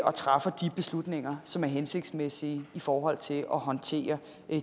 og træffer de beslutninger som er hensigtsmæssige i forhold til at håndtere